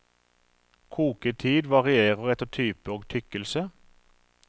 Koketid varierer etter type og tykkelse.